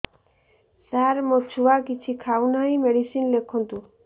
ସାର ମୋ ଛୁଆ କିଛି ଖାଉ ନାହିଁ ମେଡିସିନ ଲେଖନ୍ତୁ